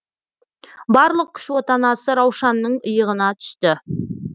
барлық күш отанасы раушанның иығына түсті